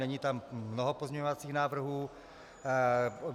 Není tam mnoho pozměňovacích návrhů.